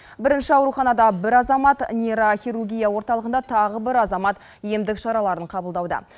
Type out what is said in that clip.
бірінші ауруханада бір азамат нейрохирургия орталығында тағы бір азамат емдік шараларын қабылдауда